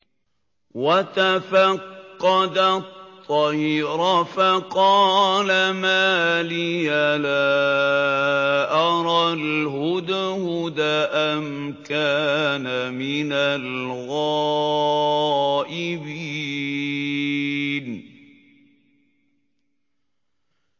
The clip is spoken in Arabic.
وَتَفَقَّدَ الطَّيْرَ فَقَالَ مَا لِيَ لَا أَرَى الْهُدْهُدَ أَمْ كَانَ مِنَ الْغَائِبِينَ